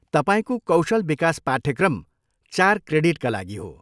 तपाईँको कौशल विकास पाठ्यक्रम चार क्रेडिटका लागि हो।